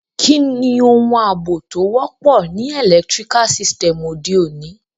Kíni oun àbò to wọ́pọ̀ ni electrical sytem ọ̀de ọ̀ní?